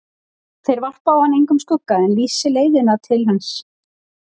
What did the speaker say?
Þeir varpi á hann engum skugga en lýsi leiðina til hans.